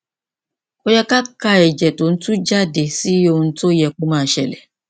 kò yẹ ká ka ẹjẹ tó ń tuú jáde sí ohun tó yẹ kó máa ṣẹlẹ